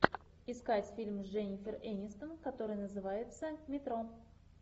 искать фильм с дженнифер энистон который называется метро